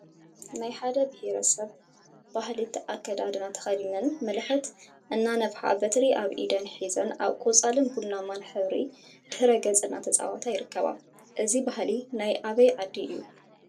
ናይ ሓደ ቢሄረ ሰብ ባህሊ አከዳድና ተከዲነን መለከት እናነፍሓ በትሪ አብ ኢደን ሒዘን አብ ቆፃልን ቡናማን ሕብሪ ድሕረ ገፅ እናተፃወታ ይርከባ፡፡ እዚ ባህሊ ናይ አበይ ዓዲ እዩ?